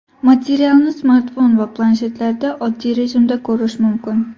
Materialni smartfon va planshetlarda oddiy rejimda ko‘rish mumkin.